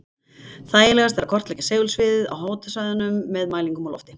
Þægilegast er að kortleggja segulsviðið yfir háhitasvæðunum með mælingum úr lofti.